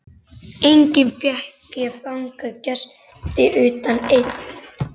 Enga fékk ég þangað gesti utan einn.